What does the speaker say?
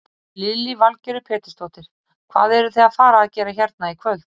Lillý Valgerður Pétursdóttir: Hvað eruð þið að fara að gera hérna í kvöld?